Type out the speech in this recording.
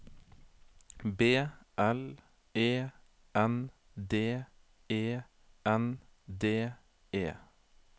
B L E N D E N D E